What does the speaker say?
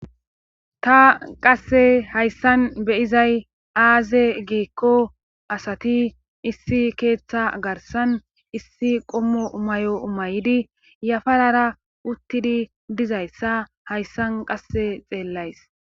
ta qasse hayssan be7izay aaze giikko asati issi keettaa garssan issi qommo mayo mayidi yafarara uttidi dizayssa hayssan qassi xeellays.